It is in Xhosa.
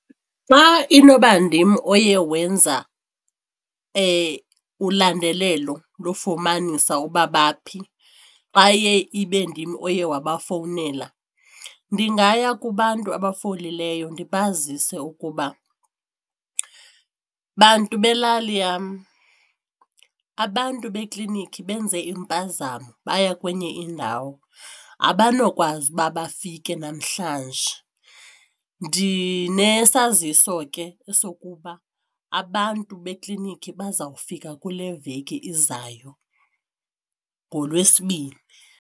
Xa inoba ndim oye wenza ulandelelo lofumanisa uba baphi, xa iye ibe ndim oye wabafowunela ndingaya kubantu abafolileyo ndibazise ukuba, bantu belali yam abantu bekliniki benze impazamo baya kwenye indawo abanokwazi uba bafike namhlanje, ndinesaziso ke sokuba abantu bekliniki bazawufika kule veki izayo ngoLwesibini.